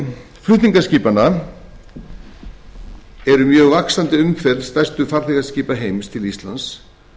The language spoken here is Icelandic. auk flutningaskipanna er mjög vaxandi umferð stærstu farþegaskipa heims til íslands